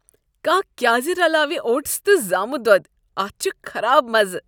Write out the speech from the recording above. کانٛہہ کیٛاز رلاوِ اوٹس تہٕ زامُت دۄد؟ اتھ چھُ خراب مزٕ۔